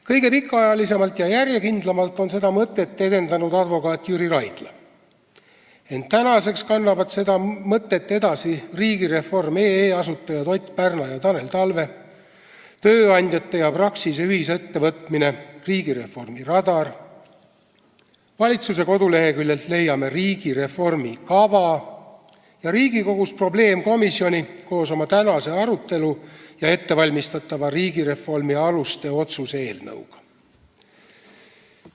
Kõige pikaajalisemalt ja järjekindlamalt on seda mõtet edendanud advokaat Jüri Raidla, ent tänaseks kannavad seda mõtet edasi riigireform.ee asutajad Ott Pärna ja Tanel Talve ning tööandjate ja Praxise ühisettevõtmine Riigireformi Radar, valitsuse koduleheküljelt leiame riigireformi kava ja Riigikogust probleemkomisjoni koos tänase arutelu ja ettevalmistatava riigireformi aluste otsuse eelnõuga.